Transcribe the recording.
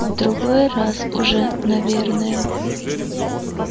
в другой раз уже наверное